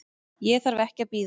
Ég þarf ekki að bíða.